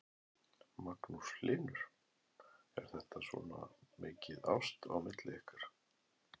Magnús Hlynur: Er þetta svona mikið ást á milli ykkar?